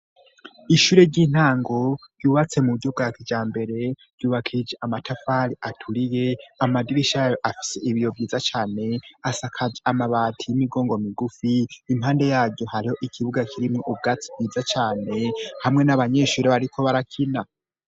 Ishure ry'intango yubatse mu buryo bwakija mbere yubakije amatafali aturiye amadibishayo afise ibiyo vyiza cane asakaje amabati y'imigongo migufi impande yaryo hariho ikibuga kirimwo ubwatsi bwiza cane hamwe n'abanyeshuri bariko barakina.